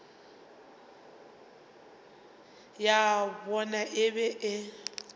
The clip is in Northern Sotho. ya bona e be e